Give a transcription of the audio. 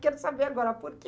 Quero saber agora por quê.